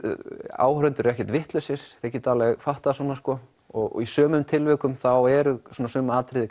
áhorfendur eru ekkert vitlausir þeir geta alveg fattað svona sko og í sumum tilvikum þá er sumum atriðum